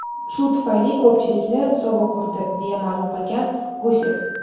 Shu tufayli ko‘pchilikni sovuq urdi”, deya ma’lum qilgan Gusev.